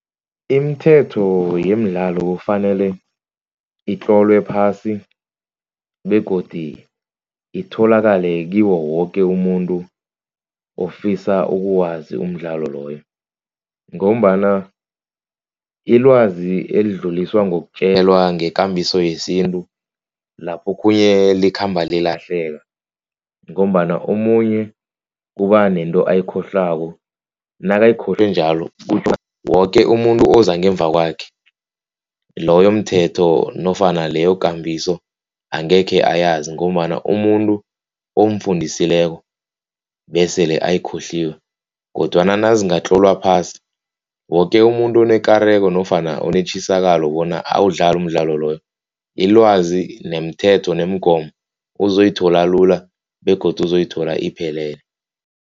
Imithetho yemidlalo kufanele itlolwe phasi begodu itholakale kiwo woke umuntu ofisa ukuwazi umdlalo loyo. Ngombana ilwazi elidluliswa ngokutjelwa ngekambiso yesintu. Lapho okhunye likhamba lilahleka ngombana omunye kuba nento ayikhohlwako. Nakayikhohlwe njalo woke umuntu oza ngemva kwakhe loyo mthetho nofana leyo kambiso angekhe ayazi ngombana umuntu omfundisileko besele ayikhohliwe. Kodwana nazingatlolwa phasi woke umuntu onekareko nofana onetjisakalo bona awudlale umdlalo loyo. Ilwazi nemithetho nemgomo uzoyithola lula begodu uzoyithola iphelele.